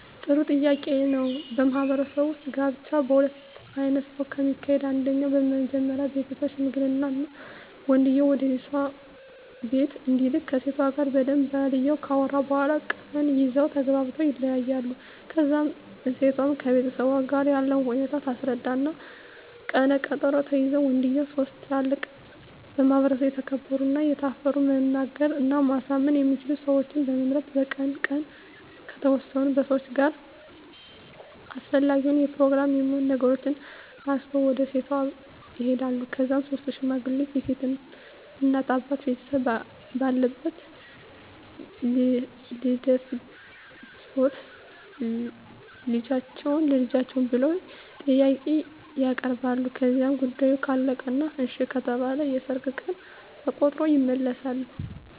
ጥሩ ጥያቄ ነው በማህበረሰቡ ውጥ ጋብቻ በሁለት አይነት ነው ከሚካሄደው አንደኛው መጀመሪ ቤተሠብ ሽምግልና ወንድየው ወደሴቷ ቢቤት እንዲልክ ከሴቷ ጋር በደንብ ባልየው ካወሩ በኋላ ቀን ይዘው ተግባብተው ይለያያሉ ከዛ እሴቷም ከቤተሠቧ ጋር ያለውን ሁኔታ ታስረዳ እና ቀነ ቀጠሮ ተይዞ ወንድየው ሥስት ትላልቅ በማህበረሰቡ የተከበሩ እና የታፈሩ መናገር እና ማሳመን የሚችሉ ሠወችን በመምረጥ በቀኑ ቀን ከተወሠኑ ሠዋች ጋር አሰፈላጊውን የፕሮግራም የሚሆኑ ነገሮችን አሲዞ ወደ ሴቷ ይሄዳሉ ከዛ ሥስቱ ሽማግሌ የሴት እናት አባት ቤተሰብ ባለበት ልደፈጅዎትን ቸልጃችን ብለው ጥያቄ ያበርባሉ ከዛ ጉዳዮ ካለቀ እና እሺ ከተባለ የሠርግ ቀን ተቆሮጦ ይመለሣሉ